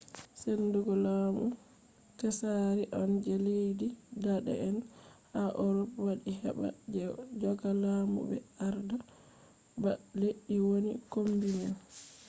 sendugo lamu tsaari on je leddi dane’en ha urop waddi heɓa ɓe joga lamu ɓe arda ba leddi woni kombi man